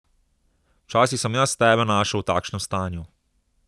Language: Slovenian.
Včasih sem jaz tebe našel v takšnem stanju.